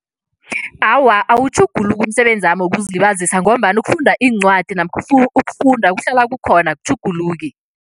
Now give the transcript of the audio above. Awa, awutjhuguluki umsebenzami wokuzilibazisa ngombana ukufunda iincwadi namkha ukufunda kuhlala kukhona, akutjhuguluki.